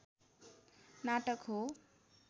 नाटक हो